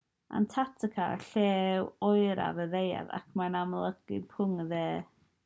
antarctica yw'r lle oeraf ar y ddaear ac mae'n amgylchynu pegwn y de